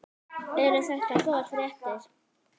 Eru þetta góðar fréttir?